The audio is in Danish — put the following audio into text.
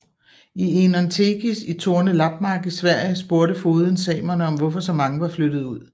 I Enontekis i Torne lappmark i Sverige spurgte fogeden samerne om hvorfor så mange var flyttet ud